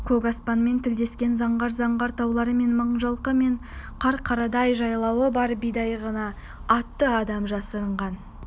көк аспанмен тілдескен заңғар-заңғар таулары бар мыңжылқы мен қарқарадай жайлауы бар бидайығына атты адам жасырынған